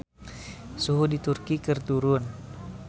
Suhu di Turki keur turun